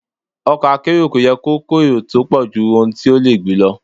Ọkọ̀ akérò kò yẹ kó èrò tó pọ̀jù ohun tó le gbé lọ.